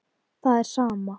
Það er sama.